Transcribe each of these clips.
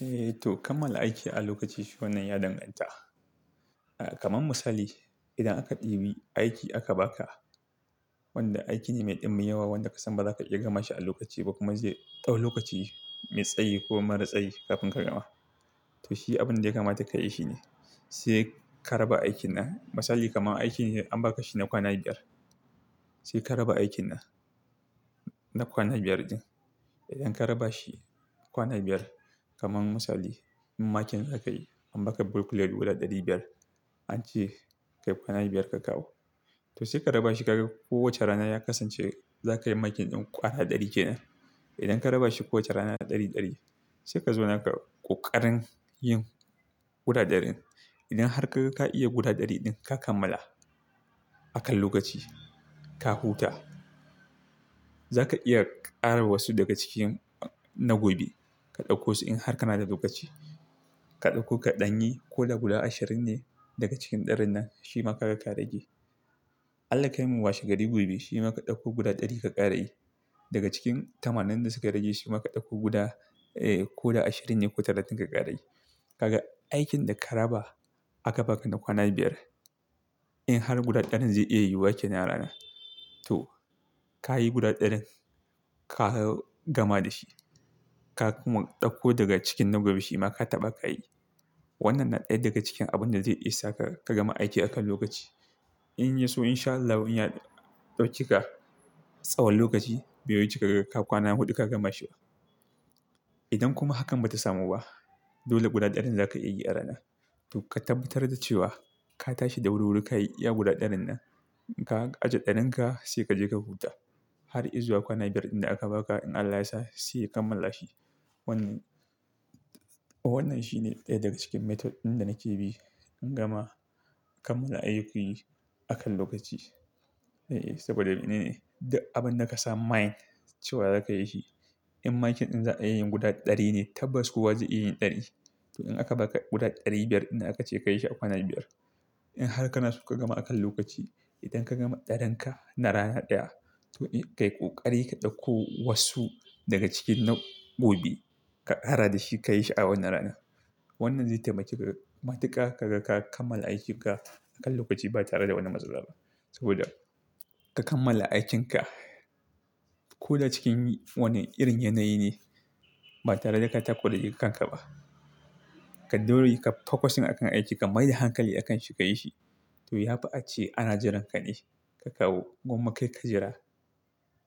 Eh to kammala aiki a lokaci shi wannan yadangata. Kaman misali idan aka ɗibi aiki aka baka wanda aiki ne mai ɗimbin yawa wanda ka san baza ka iya gama shi a lokaci ba kuma zai ɗau lokaci mai tsayi ko mara tsayi kafin ka gama. To shi abin da ya kamata ka yi shine, sai ka raba aikin na. Misali kaman aiki ne an baka shi na kwana biyar. Sai ka raba aikin na, na kwana biyar din. Idan ka raba shi kwana biyar kaman misali, in makin za ka yi an baka bulk lead guda ɗari biyar an ce ka yi kwana biyar ka kawo. To sai ka raba shi ka ga ko wace rana ya kasance za ka yi makin ɗin ko ana ɗari kenan. Idan ka raba shi kowace rana ɗari, ɗari sai ka zo naka ƙoƙarin yin guda ɗarin. Idan har ka ga ka iya guda ɗari ɗin ka kammala akan lokaci, ka huta. Za ka iya ƙara wasu daga cikin na gobe ka ɗauko su in har kana da lokaci. Ka ɗauko kaɗanyi ko da guda ashirin ne daga cikin ɗarin nan shi ma ka ga ka rage. Allah kai mun wasu gari gobe shi ma ka ɗauko guda ɗari ka ƙara yi. Daga cikin tamanin da suka rage shi ma ka ɗauko guda, ko da ashirin ne ko talatin ka ƙara yi. Kaga aikin da ka raba aka baka na kwana biyar in har guda ɗarin zai iya yiwuwa kenan rana to ka yi guda ɗarin ka gama da shi. Ka kuma ɗauko daga cikin na gobe shi ma ka taɓa ka yi. Wannan na ɗaya daga cikin abun da zai isa ka, ka gama aiki akan lokaci. In ya so insha Allahi ya ɗaukika tsawon lokaci, biyu wuce ka ga ka kwana huɗu ka gama shi. Idan kuma hakan ba ta samu ba dole guda ɗarin da za ka iya yi a rana to ka tabbatar da cewa ka tashi da wuri-wuri ka yi guda ɗarin nan. Ka ajiye ɗarin ka sai ka je ka huta. Har izuwa kwana biyar din da aka baka in Allah yasa sai ka kammala shi. Wannan, wannan shine ɗaya daga cikin method ɗin da nake bi in gama kammala ayyukin aka lokaci. Eh, saboda ne, ne abin da ka sa main cewa za ka yi shi. In makin ɗin za a iya yin guda ɗari ne tabbas kuwa zai iya yin ɗari. To in aka baka guda ɗari biyar inda aka ce ka yi shi a kwana biyar. In har kana so ka gama akan lokaci idan ka gama ɗarin ka na rana ɗaya to kai ƙoƙari ka ɗauko wasu daga cikin na gobe ka ƙara da shi ka yi shi a wannan rana. Wannan zai taimake ka ga matuƙa ka ga ka kammala aikin ka akan lokaci ba tare da wani matsala ba. Saboda ka kammala aikin ka ko da cikin wani irin yanayi ne ba tare da ka tako da jinka ba. Ka dole ka focus akan aiki ka mai da hankali akan shi ka yi shi. To yafi ace ana jiran ka ne ka kawo. Gumma kai ka jira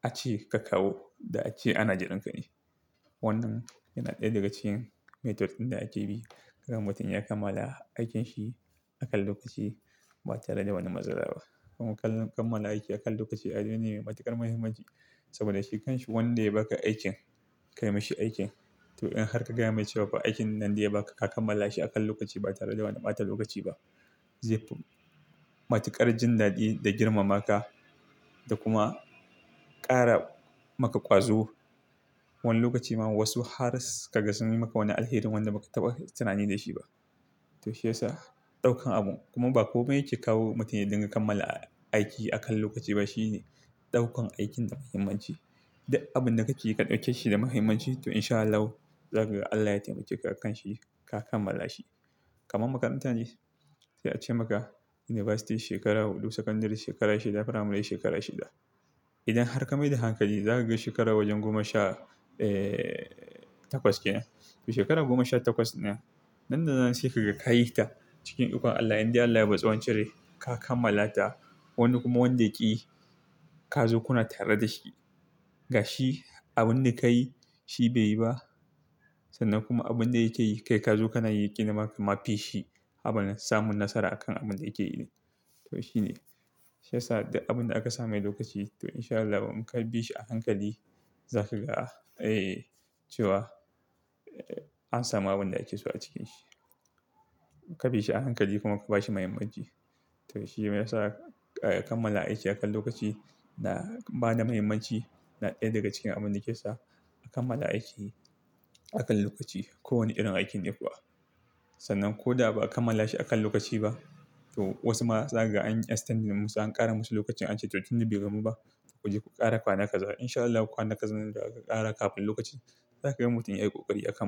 ace ka kawo da ace ana jiran ka ne. Wannan yana ɗaya daga cikin method ɗin da ake bi don mutum ya kammala aikinsa akan lokaci ba tare da wani matsala ba. Kaman kammala aiki akan lokaci abune ne mai matuƙar muhimmanci saboda shi kanshi wanda ya baka aikin, ka yi mashi aikin to in har ka gaya mai cewa aikin nan daya baka ka kammala shi akan lokaci ba tare da wani ɓata lokaci ba. Zai fi matuƙar jin daɗi da girmama ka da kuma ƙara maka ƙwazo. Wani lokaci ma wasu har sai ka ga sun yi maka wani alherin wanda ba ka taɓa tunani da shi ba. To shi yasa ɗaukan abun kuma ba komai yake kawo mutane don su kammala aiki akan lokaci ba. Shi ne ɗaukan aikin da muhimmanci. Duk abin da ka ci ka ɗauke shi da muhimmanci to insha Allah za ka ga Allah ya taimake ka akan shi ka kammala shi. Kaman makarantar ne za a ce maka university shekara huɗu, sakandare shekara shida, firamare shekara shida. Idan har ka mai da hankali za ka ga shekara wajen goma sha, eh takwas kenan. To shekaru goma sha takwas nan, nan da nan sai ka ga ka yi ta cikin duƙan Allah inda Allah ya baki tsawon cire ka kammala ta. Wani kuma wanda yake yi ka zo kuna tare da shi. Ga shi abin da ka yi shi bai yi ba sannan kuma abin da yake yi kai ka zo kana yi ƙina maka, ma fi shi abin samun nasara akan abin da yake yi ne. To shi ne. Shi yasa duk abin da aka sa mai lokaci to insha Allah inkabishi ahankal karɓe shi a hankali za ka ga, cewa an samu abin da ake so a cikin shi. Ka bi shi a hankali kuma ka ba shi muhimmanci. To shi ne yasa kammala aiki akan lokaci na ba da muhimmanci na ɗaya daga cikin abin da yake sa a kammala aiki akan lokaci. Ko wane irin aikin ne kuwa. Sannan ko da ba a kammala shi akan lokaci ba to wasu ma za ka ga an extendi musu an ƙara musu lokacin an ce to tun da bai gama ba ku je ku ƙara kwana kazara insha Allah kwana kazanin da za ku ƙara kafin lokacin za ka ga mutum ya yi ƙoƙari a kammala.